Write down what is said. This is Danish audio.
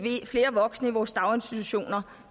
flere voksne i vores daginstitutioner